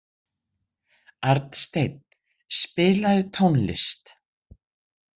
Arnsteinn, spilaðu tónlist.